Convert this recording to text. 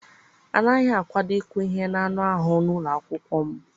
A naghị akwado ịkụ ihe n'anụ ahụ n'ụlọ akwụkwọ m.